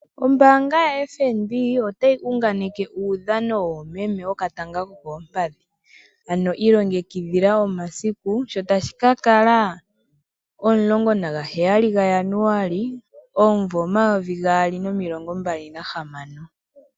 Ombaanga yaFNB otayi gunganekitha uudhano woomeme wokatanga kokoompandhi, ano iilongekidhila omasiku sho tashikakala omlongo naga heyali ga Janualy omvo 2026.